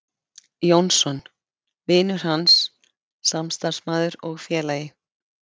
Jónsson: vinur hans, samstarfsmaður og félagi.